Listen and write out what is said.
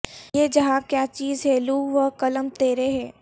یہ جہاں کیا چیز ہے لوح و قلم تیرے ہیں